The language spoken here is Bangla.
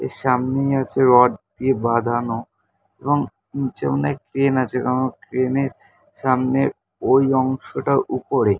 এর সামনেই আছে রড দিয়ে বাঁধানো এবং নীচে অনেক ক্রেন আছে। কারণ ক্রেন -এর সামনের ওই অংশটা ওপরে।